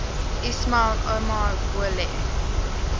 ismail omar guelleh